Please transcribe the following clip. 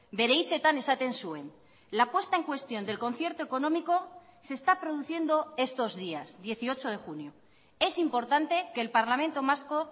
bere hitzetan esaten zuen la puesta en cuestión del concierto económico se está produciendo estos días dieciocho de junio es importante que el parlamento vasco